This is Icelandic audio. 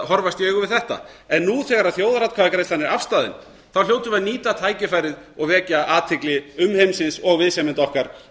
horfast í augu við þetta en nú þegar þjóðaratkvæðagreiðslan er afstaðin hljótum við að nýta tækifærið og vekja athygli umheimsins og viðsemjenda okkar